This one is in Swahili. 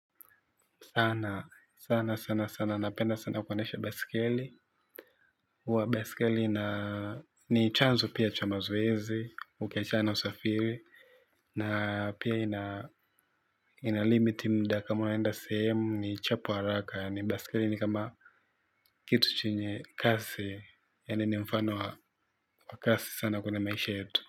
Sana, sana, sana, sana. Napenda sana kuendesha baisikeli. Huwa baisikeli ni chanzo pia cha mazoezi, ukiachana na usafiri. Na pia inalimit mda kama unaenda sehemu ni chapu haraka. Baisikeli ni kama kitu chenye kasi. Yaani ni mfano wa kasi sana kwenye maisha yetu.